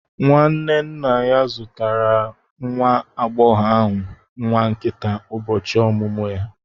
Nwanne nna ya zụtara nwa agbọghọ ahụ nwa nkịta n'ụbọchị ọmụmụ ya